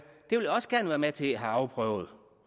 også gerne være med til at få afprøvet